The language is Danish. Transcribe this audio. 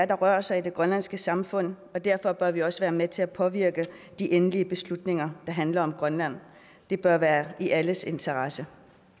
der rører sig i det grønlandske samfund og derfor bør vi også være med til at påvirke de endelige beslutninger der handler om grønland det bør være i alles interesse